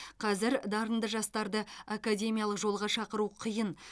қазір дарынды жастарды академиялық жолға шақыру қиын